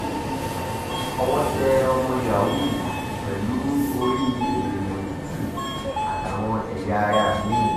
owó tẹ ọmọ yahoo pẹ̀lú orí èèyàn tútù àtàwọn ẹ̀yà ara mi